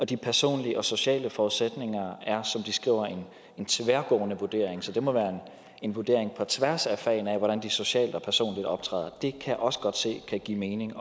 de personlige og sociale forudsætninger er det som de skriver en tværgående vurdering så det må være en vurdering på tværs af fagene af hvordan de socialt og personligt optræder det kan jeg også godt se kan give mening